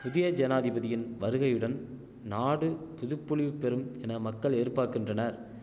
புதிய ஜனாதிபதியின் வருகையுடன் நாடு புதுப்பொலிவு பெறும் என மக்கள் எதிர்பாக்கின்றனர்